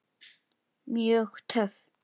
Mjög töff.